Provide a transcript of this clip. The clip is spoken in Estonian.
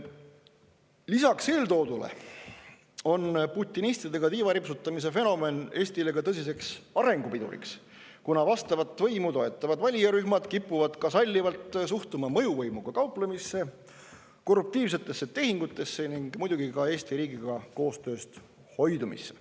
Lisaks eeltoodule on putinistidega tiivaripsutamise fenomen Eestile ka tõsiseks arengupiduriks, kuna vastavat võimu toetavad valijarühmad kipuvad ka sallivalt suhtuma mõjuvõimuga kauplemisse, korruptiivsetesse tehingutesse ning muidugi ka Eesti riigiga koostööst hoidumisse.